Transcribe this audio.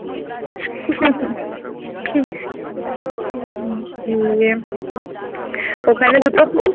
হম ইয়ে ওখানে দুটো"